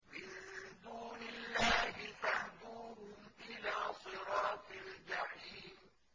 مِن دُونِ اللَّهِ فَاهْدُوهُمْ إِلَىٰ صِرَاطِ الْجَحِيمِ